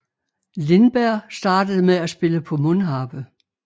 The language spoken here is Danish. Lindberg startede med at spille på mundharpe